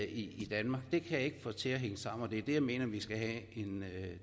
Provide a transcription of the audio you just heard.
i danmark det jeg ikke få til at hænge sammen og det er det jeg mener vi skal have en